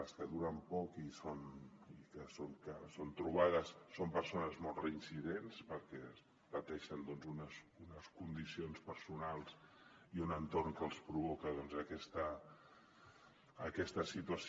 les que duren poc i que són trobades són persones molt reincidents perquè pateixen doncs unes condicions personals i un entorn que els provoquen aquesta situació